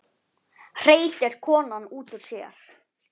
hreytir konan út úr sér.